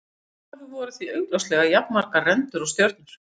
Í upphafi voru því augljóslega jafnmargar rendur og stjörnur.